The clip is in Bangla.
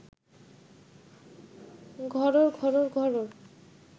ঘরোর ঘরোর ঘরোর